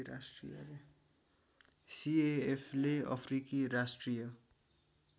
सिएएफले अफ्रिकी राष्ट्रिय